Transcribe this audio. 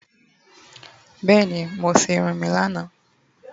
Beeni. Mo se irun mi lana